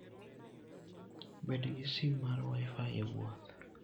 Bed gi sim mar Wi-Fi e wuoth.